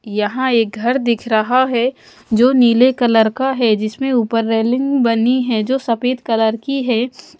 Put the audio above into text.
यहां एक घर दिख रहा है जो नीले कलर का है जिसमें ऊपर रैलिंग बनी है जो सफेद कलर की है।